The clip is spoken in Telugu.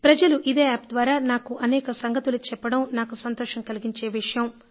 ప్రజలు ఇదే యాప్ ద్వారా నాకు అనేక సంగతులు చెప్పడం నాకు సంతోషం కలిగించే విషయం